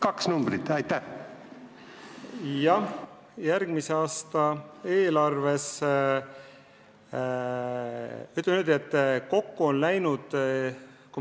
Kaks numbrit palun!